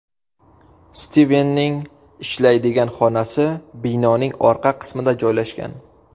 Stivenning ishlaydigan xonasi binoning orqa qismida joylashgan.